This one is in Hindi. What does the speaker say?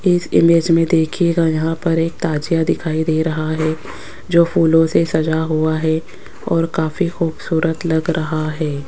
इस इमेज में देखिएगा यहां पर एक ताजिया दिखाई दे रहा है जो फूलों से सजा हुआ है और काफी खूबसूरत लग रहा है।